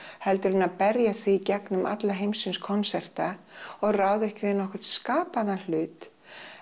heldur en að berja sig í gegnum alla heimsins konserta og ráða ekki við nokkrun skapaðan hlut